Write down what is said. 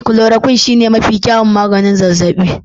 Chloroquine shine mafi kyawun maganin zazzabi.